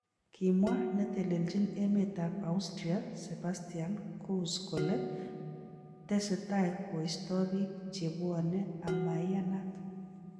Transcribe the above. Kimwa netelejin emet ab Austria Sebastian Kurz kole tesetai koisto bik chebwonei amaianat.